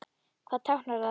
Hvað táknar það?